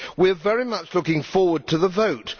We are very much looking forward to the vote.